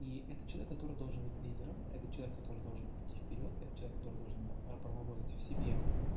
и это человек который должен быть лидером это человек который должен идти вперёд это человек который должен работать в себе